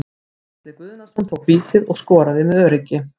Atli Guðnason tók vítið og skoraði með öruggi.